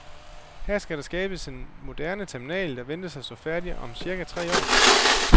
Her skal der skabes en moderne terminal, der ventes at stå færdig om cirka tre måneder.